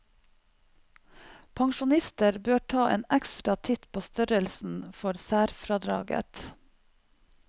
Pensjonister bør ta en ekstra titt på størrelsen for særfradraget.